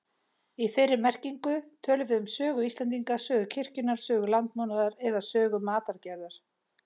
Í þeirri merkingu tölum við um sögu Íslendinga, sögu kirkjunnar, sögu landbúnaðar eða sögu matargerðar.